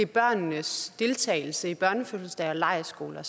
børnenes deltagelse i børnefødselsdage og lejrskoler